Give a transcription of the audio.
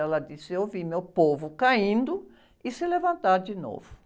Ela disse, eu vi meu povo caindo e se levantar de novo.